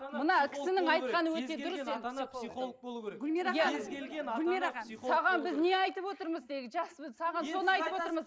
саған біз не айтып отырмыз тегі жаспыз саған соны айтып отырмыз